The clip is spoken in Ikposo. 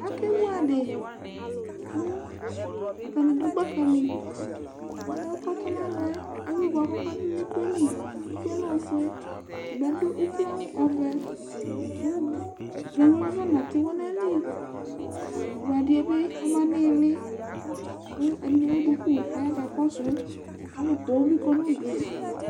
Akevu adi kʋ atani dʋ gbaka li Ʋlʋɛ kʋ ɔtɔnalɔ yɛ evu boa kʋ ɔkadʋ nʋ iko yɛ li Iko yɛ lɛ ofue Ɔtabi adʋ ukloawʋ ɔvɛ Ganʋ yɛ kʋ afɔnatiwɔ nʋ ayili vu adi yɛ bi ma nʋ ilili kʋ ɛdini ewu duku kaya kakɔsʋ Alʋ poo bi ya nʋ udu e